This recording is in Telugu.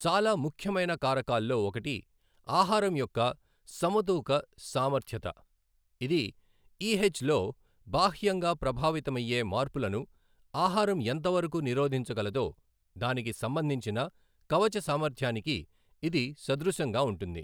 చాలా ముఖ్యమైన కారకాల్లో ఒకటి ఆహారం యొక్క సమతూక సామర్ద్యత. ఇది ఈహెచ్ లో బాహ్యంగా ప్రభావితమైయ్యే మార్పులను ఆహారం ఎంతవరకు నిరోధించగలదో దానికి సంబంధించిన కవచ సామర్థ్యానికి ఇది సదృశంగా ఉంటుంది.